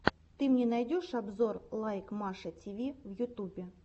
ты мне найдешь обзор лайк маша тиви в ютубе